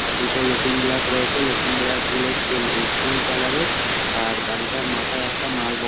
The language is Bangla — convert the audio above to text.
আর দুটো লুকিং গ্লাস রয়েছে | লুকিং গ্লাস গুলো সিল স্টিল কালার -এর আর গাড়িটার মাথায় একটা মাল বহ--